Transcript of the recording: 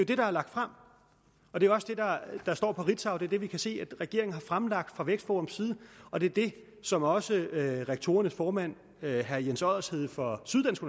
det der er lagt frem og det er også det der står på ritzau det er det vi kan se at regeringen har fremlagt fra vækstforums side og det er det som også rektorernes formand herre jens oddershede fra syddansk